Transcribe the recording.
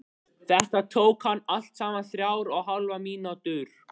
Þetta tók hann allt saman þrjár og hálfa mínútu.